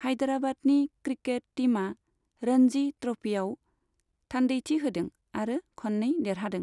हायदेराबादनि cricket टिमा रन्जि ट्रपियाव थान्दैथि होदों आरो खन्नै देरहादों।